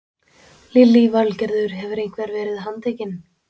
Lillý Valgerður: Hefur einhver verið handtekinn?